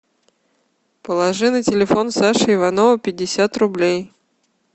положи на телефон саши иванова пятьдесят рублей